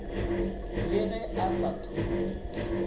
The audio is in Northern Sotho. le ge a sa thope